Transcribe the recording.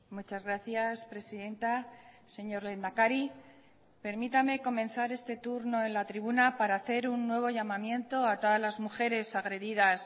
muchas gracias presidenta señor lehendakari permítame comenzar este turno en la tribuna para hacer un nuevo llamamiento a todas las mujeres agredidas